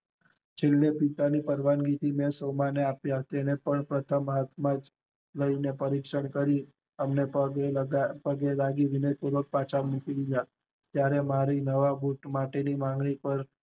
છેલ્લે પિતાની પરવાનગી થી સૌમાંયે મળ્યા, એમને પ્રથમ હાથ માં લઇ ને પરીક્ષણ કરી એમને પગે લાગી વિનતીભાર પછ અમુકયાં ત્યારે મારી નવા બુટ માટે ની માંગણી પર